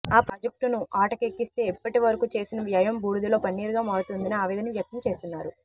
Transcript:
ఆ ప్రాజెక్టును అటకెక్కిస్తే ఇప్పటి వరకూ చేసిన వ్యయం బూడిదలో పన్నీరుగా మారుతుందని ఆవేదన వ్యక్తం చేస్తున్నారు